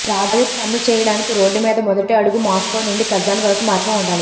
project అమలు చేయడానికి road మీద మొదటి అడుగు మాస్కో నుండి కజాన్ వరకు మార్గం ఉండాలి